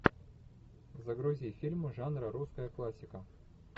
загрузи фильмы жанра русская классика